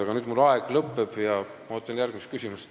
Aga mu aeg lõpeb ja ma ootan järgmist küsimust.